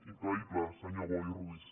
increïble senyor boi ruiz